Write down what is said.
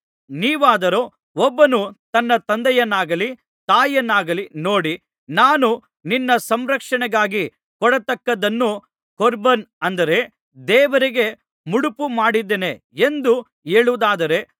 ನೀವಾದರೋ ಒಬ್ಬನು ತನ್ನ ತಂದೆಯನ್ನಾಗಲಿ ತಾಯಿಯನ್ನಾಗಲಿ ನೋಡಿ ನಾನು ನಿನ್ನ ಸಂರಕ್ಷಣೆಗಾಗಿ ಕೊಡತಕ್ಕದ್ದನ್ನು ಕೊರ್ಬಾನ್ ಅಂದರೆ ದೇವರಿಗೆ ಮುಡಿಪು ಮಾಡಿದ್ದೇನೆ ಎಂದು ಹೇಳುವುದಾದರೆ